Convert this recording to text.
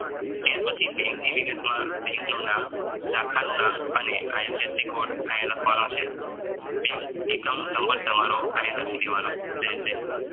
ત્યાર પછી બેન્કની વિગત માં બેન્કનું નામ શાખાનું નામ અને ifc કોડ આયા લખવાનો છે. બેન્ક account નંબર તમારો આયા લખી દેવાનો રહેશે